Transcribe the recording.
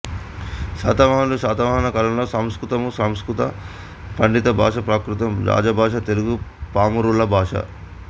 శాతవాహనులుశాతవాహనుల కాలంలో సంస్కృతముసంస్కృతం పండిత భాష ప్రాకృతం రాజభాష తెలుగు పామరుల భాష